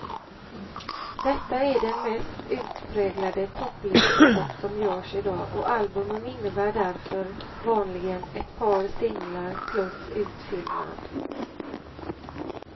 Detta är den mest utpräglade topplistepop som görs i dag, och albumen innebär därför vanligen ett par singlar plus utfyllnad.